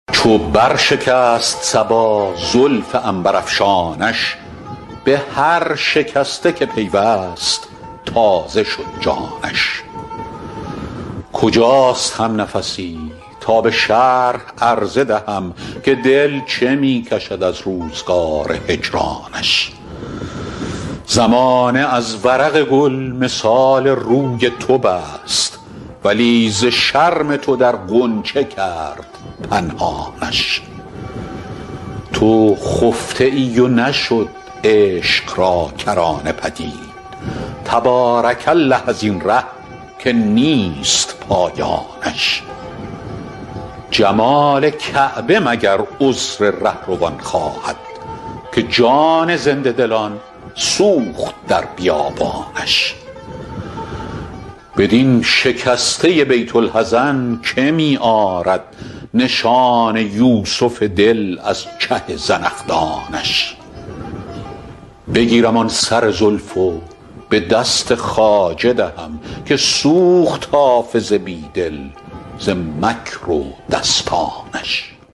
چو بر شکست صبا زلف عنبرافشانش به هر شکسته که پیوست تازه شد جانش کجاست همنفسی تا به شرح عرضه دهم که دل چه می کشد از روزگار هجرانش زمانه از ورق گل مثال روی تو بست ولی ز شرم تو در غنچه کرد پنهانش تو خفته ای و نشد عشق را کرانه پدید تبارک الله از این ره که نیست پایانش جمال کعبه مگر عذر رهروان خواهد که جان زنده دلان سوخت در بیابانش بدین شکسته بیت الحزن که می آرد نشان یوسف دل از چه زنخدانش بگیرم آن سر زلف و به دست خواجه دهم که سوخت حافظ بی دل ز مکر و دستانش